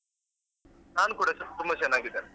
ನಾನು ಕೂಡ ತುಂ~ ತುಂಬ ಚೆನ್ನಾಗಿದ್ದೇನೆ.